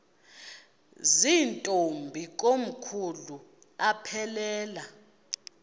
zirntombi komkhulu aphelela